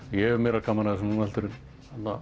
ég hef meira gaman af þessu núna heldur en